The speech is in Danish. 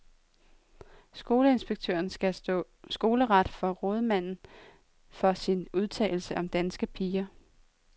Skoleinspektøren skal stå skoleret for rådmanden for sin udtalelse om danske piger.